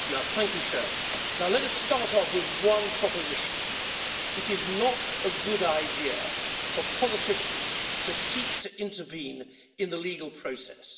Madam President, let us start off with one proposition. It is not a good idea for politicians to seek to intervene in the legal process.